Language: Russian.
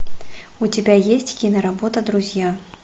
у тебя есть киноработа друзья